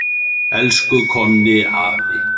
Elsku Konni afi.